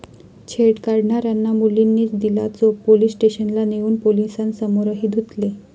छेड काढणाऱ्यांना मुलींनीच दिला चोप, पोलीस स्टेशनला नेऊन पोलिसांसमोरही धुतले